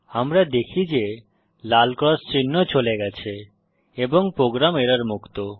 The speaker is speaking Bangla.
আমরা দেখি যে লাল ক্রস চিহ্ন চলে গেছে এবং প্রোগ্রাম এরর মুক্ত